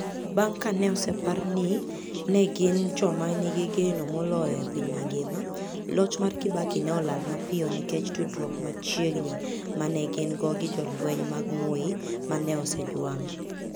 Bang' ka ne osepar ni ne gin "joma nigi geno moloyo e piny mangima, " loch mar Kibaki ne olal mapiyo nikech tudruok machiegni ma ne gin go gi jolweny mag Moi ma ne osejwang'.